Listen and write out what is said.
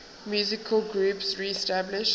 musical groups reestablished